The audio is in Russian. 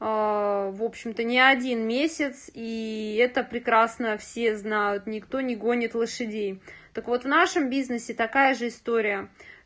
в общем-то не один месяц и это прекрасно все знают никто не гонит лошадей так вот в нашем бизнесе такая же история